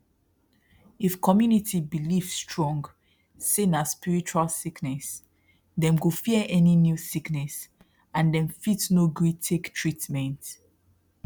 if community believe strong say na spiritual sickness dem go fear any new sickness and dem fit no gree take treatment